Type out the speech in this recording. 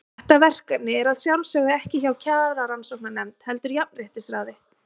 Þetta verkefni er að sjálfsögðu ekki hjá Kjararannsóknarnefnd, heldur hjá Jafnréttisráði.